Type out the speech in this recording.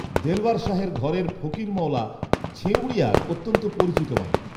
দেলবার শাহের ঘরের ফকির মওলা ছেঁঊড়িয়ায় অত্যন্ত পরিচিত মানুষ